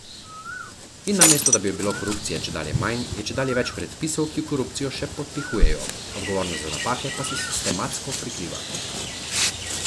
In namesto da bi bilo korupcije čedalje manj, je čedalje več predpisov, ki korupcijo še podpihujejo, odgovornost za napake pa se sistematsko prikriva.